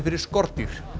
fyrir skordýr